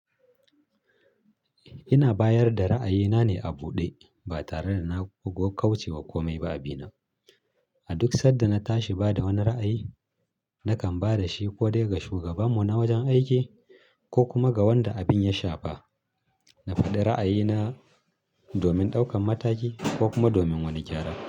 Ina bayar da ra'ayina ne a buɗe ba tare da na gokauce wa komai ba a bina. A duk sanda na tashi bada wani ra'ayi, nakan bada shi ko dai ga shugabanmu na wajen aiki ko kuma ga wanda abin ya shafa. Na faɗi ra'ayina domin ɗaukan mataki ko kuma domin wani gyara.